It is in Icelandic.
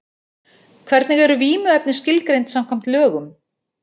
Hvernig eru vímuefni skilgreind samkvæmt lögum?